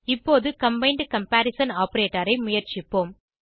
இப்போது combined comparison operator ஐ முயற்சிப்போம்